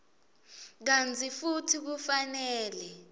kantsi futsi kufanele